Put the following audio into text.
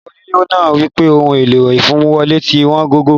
Bàbá onílẹ̀ náà wípé Ọ̀hun ẹ̀lọ̀ ìfàmiwọlé̀ tí wọn gògó.